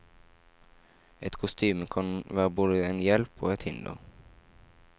Et kostyme kan være både en hjelp og et hinder.